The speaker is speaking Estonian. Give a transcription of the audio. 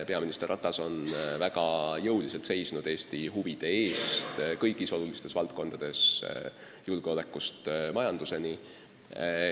Peaminister Ratas on väga jõuliselt seisnud Eesti huvide eest kõigis olulistes valdkondades, julgeolekust majanduseni.